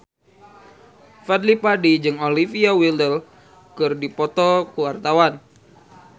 Fadly Padi jeung Olivia Wilde keur dipoto ku wartawan